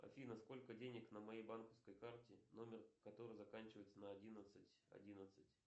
афина сколько денег на моей банковской карте номер которой заканчивается на одиннадцать одиннадцать